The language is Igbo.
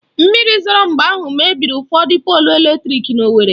Mmiri zoro mgbe ahụ mebiri ụfọdụ polụ eletrịk n'Owerri